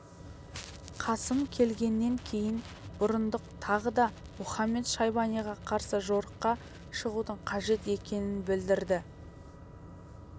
қасым келгеннен кейін бұрындық тағы да мұхамед-шайбаниға қарсы жорыққа шығудың қажет екенін білдірді